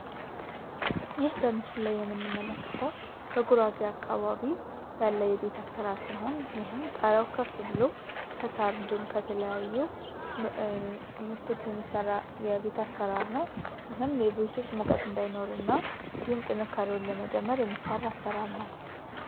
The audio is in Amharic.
ይህ በምስጋና የምንመለከተው በጉራጌ አካባቢ የምናገኘው የቤት አሰራር ሲሆን ጣራው ከፍ ብሎ የሚሰራ የቤት አሰራር ነው ይህም ሙቀት እንዳይኖር የሚያደርግና እንዲሁም ጠንካራ ለመጨመር የሚሠራ የአሠራር አይነት ነው።